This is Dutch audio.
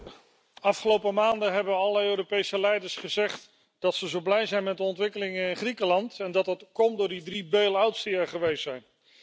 Voorzitter, de afgelopen maanden hebben alle Europese leiders gezegd dat ze zo blij zijn met de ontwikkelingen in Griekenland en dat dat komt door die drie bail outs die er geweest zijn.